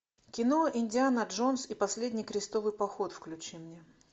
кино индиана джонс и последний крестовый поход включи мне